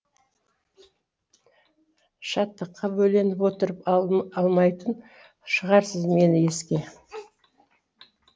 шаттыққа бөленіп отырып алмайтын шығарсыз мені еске